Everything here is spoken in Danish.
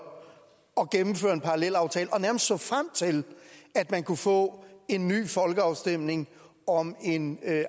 at gennemføre en parallelaftale og nærmest så frem til at man kunne få en ny folkeafstemning om en